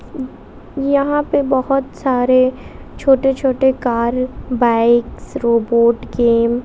उ यहाँ पे बहोत सारे छोटे-छोटे कार बाइक्स रोबोट गेम --